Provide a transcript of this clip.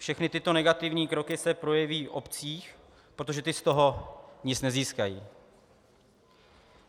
Všechny tyto negativní kroky se projeví v obcích, protože ty z toho nic nezískají.